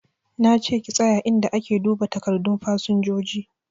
Na ce ki tsaye inda ake duba takardun fasinjoji!